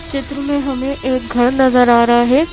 चित्र में हमें एक घर नजर आ रहा है।